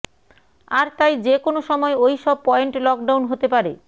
আর তাই যেকোনো সময় ওই সব পয়েন্ট লকডাউন হতে পারে